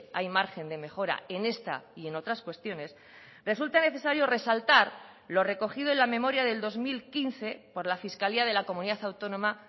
hay margen de mejora en esta y en otras cuestiones resulta necesario resaltar lo recogido en la memoria del dos mil quince por la fiscalía de la comunidad autónoma